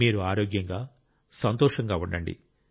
మీరు ఆరోగ్యంగా సంతోషంగా ఉండండి